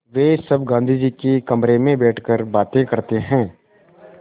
वे सब गाँधी जी के कमरे में बैठकर बातें करते हैं